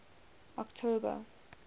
october